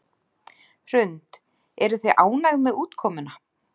Hrund: Eruð þið ánægð með útkomuna?